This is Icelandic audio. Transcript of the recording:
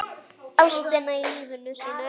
Ástina í lífi sínu.